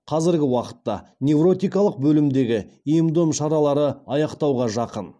қазіргі уақытта невротикалық бөлімдегі ем дом шаралары аяқтауға жақын